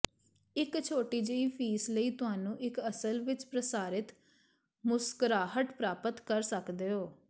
ਇੱਕ ਛੋਟੀ ਜਿਹੀ ਫੀਸ ਲਈ ਤੁਹਾਨੂੰ ਇੱਕ ਅਸਲ ਵਿੱਚ ਪ੍ਰਸਾਰਿਤ ਮੁਸਕਰਾਹਟ ਪ੍ਰਾਪਤ ਕਰ ਸਕਦੇ ਹੋ